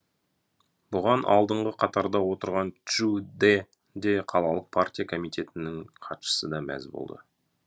бұған алдыңғы қатарда отырған чжу де де қалалық партия комитетінің хатшысы да мәз болды